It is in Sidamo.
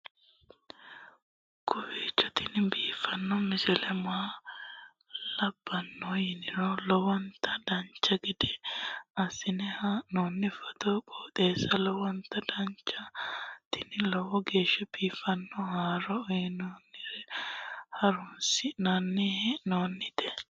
kowiicho tini biiffanno misile maa labbanno yiniro lowonta dancha gede assine haa'noonni foototi qoxeessuno lowonta danachaho. tini lowo geeshsha biiffanno haaro uyannara horoonsi'nanni hee'noonite